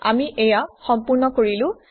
আমি এইয়া সম্পূৰ্ণ কৰিলো